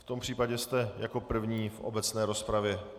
V tom případě jste jako první v obecné rozpravě.